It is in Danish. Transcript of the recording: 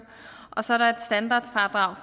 og så er der et standardfradrag